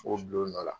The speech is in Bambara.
K'o bil'o nɔ la